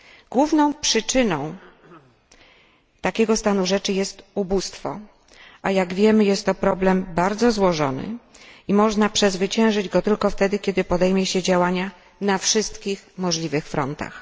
Główną przyczyną takiego stanu rzeczy jest ubóstwo, a jak wiemy jest to problem bardzo złożony i można przezwyciężyć go tylko wtedy, kiedy podejmie się działania na wszystkich możliwych frontach.